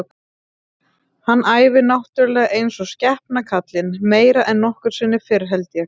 Hann æfir náttúrulega eins og skepna kallinn, meira en nokkru sinni fyrr held ég.